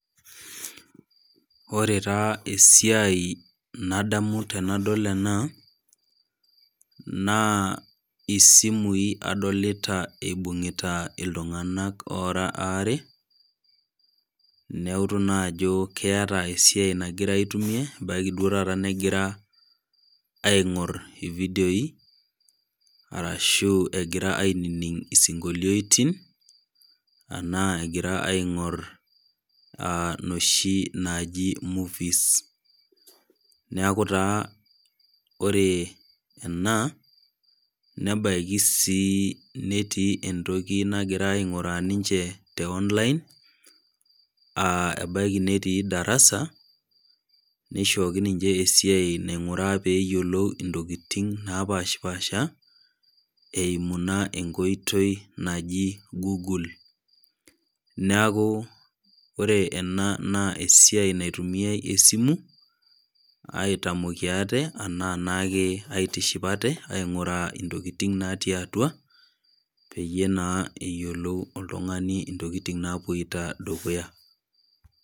Oree taa esiai nadamu tenadol ena naa simu adolita ebung'ita iltung'anak ora are neutu naa Ajo keeta esiai nagira aitumia ebaiki naa ore duo taata negira aing'or video arashuegira aininig esinkolioitin enaa Egira aing'or noshi naaji movies neeku taa oree ena nebaiki sii netii entoki nagira aing'uraa ninje tee online aa ebaiki netii darasa neishoko ninje esiai naing'uraa peyiolou ntokitin napashipasha eyimu naa enkoitoi naaji goole neeku ore ena naa esiai naitumiai simu aitamokie ate enaa aitishipa ate aing'uraa ntokitin natii atua peyie naa eyiolou oltunga'ani ntokitin naapuoito dukuya